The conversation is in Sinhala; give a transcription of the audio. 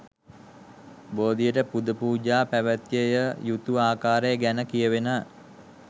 බෝධියට පුදපූජා පැවැත්විය යුතු ආකාරය ගැන කියවෙන